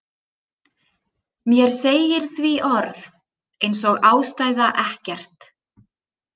Mér segir því orð einsog ástæða ekkert.